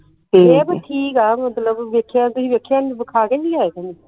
ਇਹ ਪੀ ਠੀਕ ਆ ਮਤਲਬ ਵੇਖਿਆ ਤੁਸੀਂ ਵੇਖਿਆ ਵਖਾ ਕੇ ਨਹੀਂ ਲਿਆਏ ਤੁਹਾਨੂੰ